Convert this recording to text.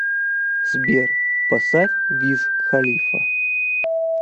сбер поставь виз халифа